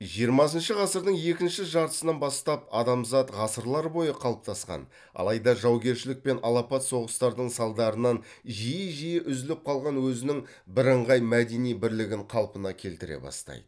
жиырмасыншы ғасырдың екінші жартысынан бастап адамзат ғасырлар бойы қалыптасқан алайда жаугершілік пен алапат соғыстардың салдарынан жиі жиі үзіліп қалған өзінің бірыңғай мәдени бірлігін қалпына келтіре бастайды